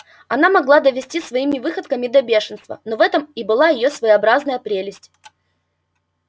она могла довести своими выходками до бешенства но в этом и была её своеобразная прелесть